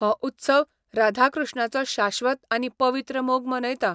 हो उत्सव राधा कृ्ष्णाचो शाश्वत आनी पवित्र मोग मनयता.